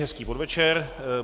Hezký podvečer.